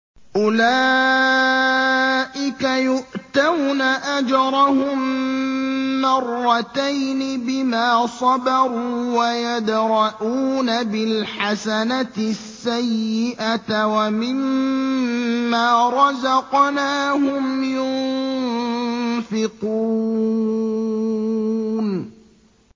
أُولَٰئِكَ يُؤْتَوْنَ أَجْرَهُم مَّرَّتَيْنِ بِمَا صَبَرُوا وَيَدْرَءُونَ بِالْحَسَنَةِ السَّيِّئَةَ وَمِمَّا رَزَقْنَاهُمْ يُنفِقُونَ